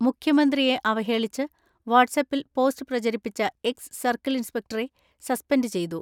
മുഖ്യമന്ത്രിയെ അവഹേളിച്ച് വാട്സ്ആപ്പിൽ പോസ്റ്റ് പ്രച രിപ്പിച്ച എക്സ് സർക്കിൾ ഇൻസ്പെക്ട സസ്പെൻഡ് ചെയ്തു.